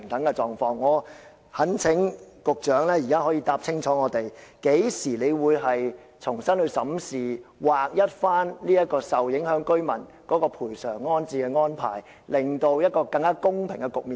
我懇請局長清楚答覆，究竟當局何時才會重新審視制度，將對受影響居民的賠償和安置安排劃一，重新構建一個更公平的局面呢？